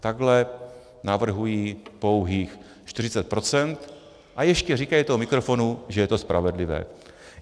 Takhle navrhují pouhých 40 % a ještě říkají do mikrofonu, že je to spravedlivé.